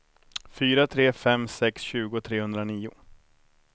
fyra tre fem sex tjugo trehundranio